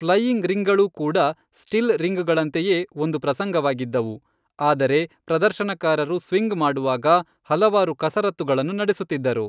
Flying ರಿಂಗ್ಗಳೂ ಕೂಡ still ರಿಂಗ್ಗಳಂತೆಯೇ ಒಂದು ಪ್ರಸಂಗವಾಗಿದ್ದವು, ಆದರೆ ಪ್ರದರ್ಶನಕಾರರು ಸ್ವಿಂಗ್ ಮಾಡುವಾಗ ಹಲವಾರು ಕಸರತ್ತುಗಳನ್ನು ನಡೆಸುತ್ತಿದ್ದರು.